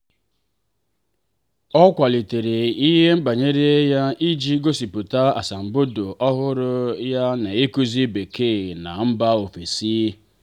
ọ kwalitere ihe banyere ya iji gosipụta asambodo ọhụrụ ya n'ịkụzi bekee na mba ofesi.